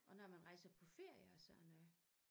Og når man rejser på ferie og sådan noget